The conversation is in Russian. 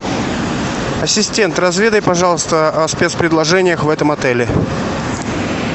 ассистент разведай пожалуйста о спецпредложениях в этом отеле